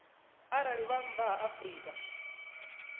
arali vha nnḓa ha afrika